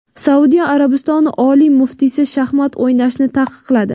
Saudiya Arabistoni oliy muftiysi shaxmat o‘ynashni taqiqladi.